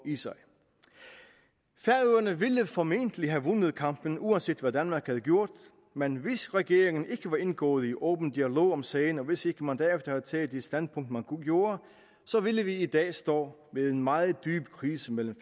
færøerne ville formentlig have vundet kampen uanset hvad danmark havde gjort men hvis regeringen ikke var indgået i åben dialog om sagen og hvis ikke man derefter havde taget det standpunkt man gjorde ville vi i dag stå med en meget dyb krise mellem